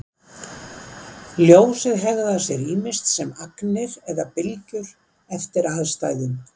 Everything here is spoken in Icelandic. Ljósið hegðar sér ýmist sem agnir eða bylgjur eftir aðstæðum.